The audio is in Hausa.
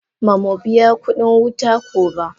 Ma mu biya kudin wuta ko ba.